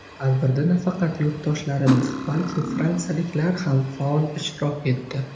Tadbirda nafaqat yurtdoshlarimiz, balki, fransiyaliklar ham faol ishtirok etdi.